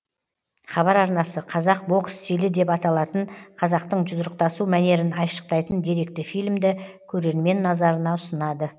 хабар арнасы қазақ бокс стилі деп аталатын қазақтың жұдырықтасу мәнерін айшықтайтын деректі фильмді көрермен назарына ұсынады